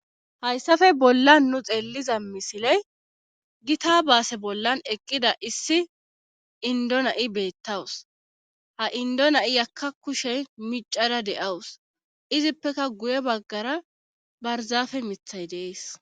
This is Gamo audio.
Hayssape bollan nu xeelliza misiley gita baase bollan eqqida issi indo na7i beettawus ha indo na7i yakka kushe micada de7awus izippeka guye baggara barzaafe mithay deees